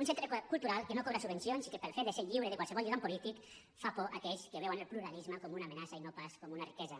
un centre cultural que no cobra subvencions i que pel fet de ser lliure de qualsevol lligam polític fa por a aquells que veuen el pluralisme com una amenaça i no pas com una riquesa